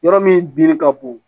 Yɔrɔ min binni ka bon